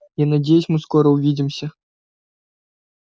я надеюсь мы скоро увидимся